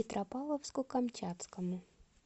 петропавловску камчатскому